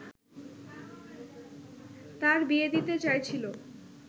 তার বিয়ে দিতে চাইছিল